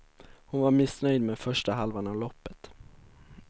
Hon var missnöjd med första halvan av loppet.